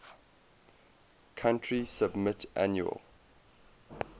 country submit annual